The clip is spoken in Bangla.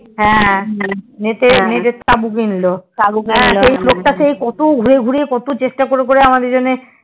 হয়ে net এর তাবু কিনলো সেই লোকটা সেই কত ঘুরে ঘুরে কত চেষ্টা করে করে আমাদের জন্যে